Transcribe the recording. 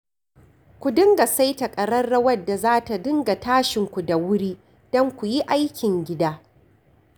Ku dinga saita ƙararrawar da za ta dinga tashinku da wuri don ku yi aikin gida